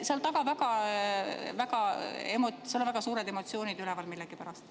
Seal taga on väga suured emotsioonid üleval millegipärast.